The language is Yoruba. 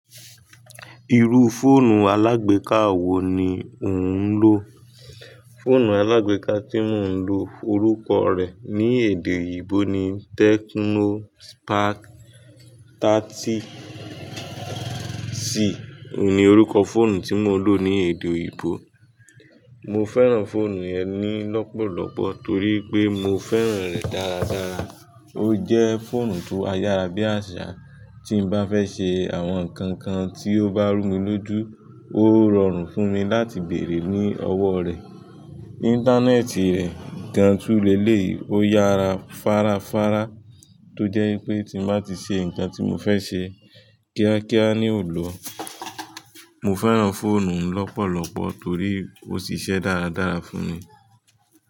Iru fóònù alágbéka wo ni ò ń lò? Fóònù alágbéka tí mò ń lò orúkọ rẹ̀ ní èdè oyibo ni Tecno Spark 30 C. Óun ni orúkọ fóònù tí mò ń lò ní èdè oyibo. Mo fẹ́ràn fóònù yẹn ní lọ́pọ̀lọ́pọ̀ torí pé mo fẹ́ràn rẹ̀ dáradára. Ó jẹ́ fóònù tó áyarà bí àṣà, tí n bá fẹ́ ṣe àwọn nǹkan kan tí ó bá rú mi lójú, ó rọrùn fún mi láti bèrè ní ọwọ́ rẹ̀. Íńtánẹ́ẹ̀tì rẹ̀ gan tu lélẹ̀yi, ó yára fárafará tó jẹ́ wipé tí n bá ti ṣe nǹkan tí mo fẹ́ ṣe kíákíá ni ò lọ. Mo fẹ́ràn fóònù lọ́pọ̀lọ́pọ̀ torí ó ṣiṣẹ́ dáradára fún mi.